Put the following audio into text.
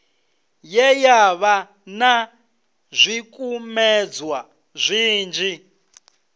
ye yavha na zwikumedzwa zwinzhi